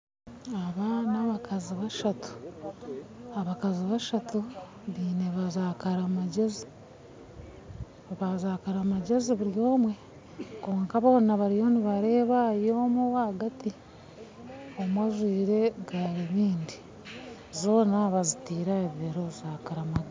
Aba n'abakazi bashatu, abakazi bashatu baine za karimagyezi buri omwe, kwonka boona bariyo nibareeba ahari omwe owahagati omwe ajwaire garibindi zoona bazitaire ahabibero za karimagyezi.